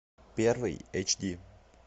первый эйч ди